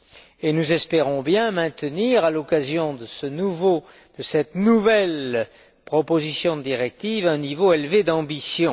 Et nous espérons bien maintenir, à l'occasion de cette nouvelle proposition de directive, un niveau élevé d'ambition.